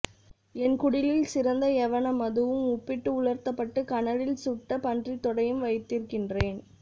என் குடிலில் சிறந்த யவன மதுவும் உப்பிட்டு உலர்த்தப்பட்டு கனலில் சுட்ட பன்றித்தொடையும் வைத்திருக்கிறேன்